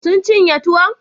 Sun cinye tuwon?